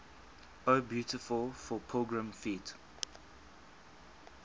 o beautiful for pilgrim feet